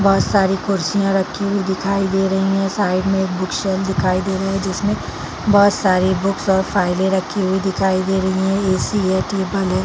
बोहत सारी कुर्सियां रखी हुई दिखाई दे रही है साइड में एक बुक शेल्फ दिखाई दे रहे है जिसमे बोहत सारी बुक्स और फाइले रखी हुई दिखाई दे रही है ए_सी है टेबल है।